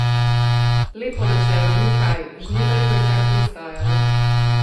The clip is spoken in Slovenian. Lepo načelo, ni kaj, Žnidarju je kar pristajalo.